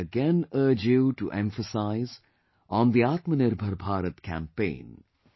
I again urge you to emphasize on Aatma Nirbhar Bharat campaign